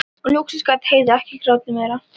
Og loksins gat Heiða ekki grátið meira.